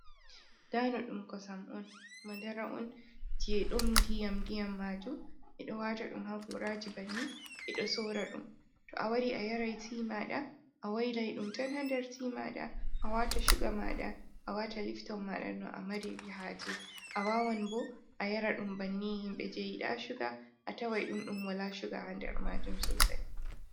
Dano ɗum kosam on, "madara" on jey ɗon ndiyam-ndiyam maajum ɓe ɗo waata ɗum ha gooraaji banni ɓe ɗo soora ɗum. To a wari a yaray "tii" maaɗa a waylay ɗum ton ha nder "tii" maaɗa, a waata "shuga" maaɗa a waata "lifton" maaɗa no a mariri haaje. A waawan bo a yara ɗum banni, himɓe jey yiɗaa "shuga" a taway ɗum ɗum walaa "shuga" ha nder maajum soosay.